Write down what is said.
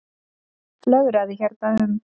Flögraði hérna um.